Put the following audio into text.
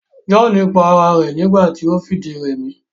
John pa ara rẹ̀ nígbà ti o fìdírẹmi